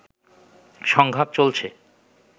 সংঘাত চলছে